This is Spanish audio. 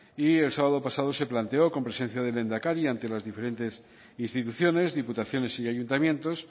y el sábado pasado se planteó con presencia del lehendakari ante las diferentes instituciones diputaciones y ayuntamientos